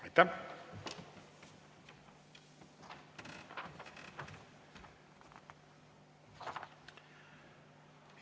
Aitäh!